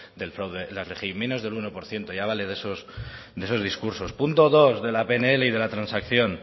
del fraude en la rgi menos del uno por ciento ya vale de esos discursos punto dos de la pnl y de la transacción